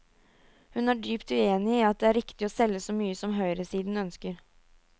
Hun er dypt uenig i at det er riktig å selge så mye som høyresiden ønsker.